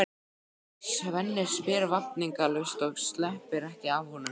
Svenni spyr vafningalaust og sleppir ekki af honum augunum.